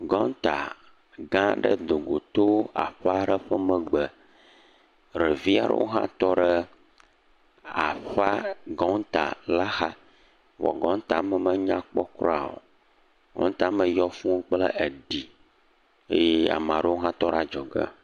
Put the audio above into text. Gɔŋta gã aɖe dogo to aƒe aɖe megbe, ɖevi aɖewo hã tɔ ɖe aƒea, gɔŋta la xa, evɔa gɔŋta me menyakpɔ kura o, gɔŋta me yɔ fũu kple eɖi. eye ame aɖewo hã tɔ ɖe adzɔ ge.